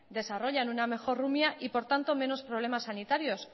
desarrollan una mejor rumia y por tanto menos problemas sanitarios